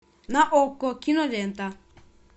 на окко кинолента